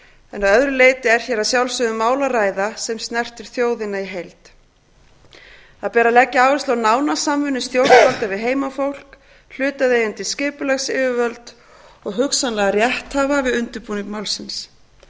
en að öðru leyti er hér um mál að ræða sem snertir þjóðina í heild það ber að leggja áherslu á nána samvinnu stjórnvalda við heimafólk hlutaðeigandi skipulagsyfirvöld og hugsanlega rétthafa við undirbúning málsins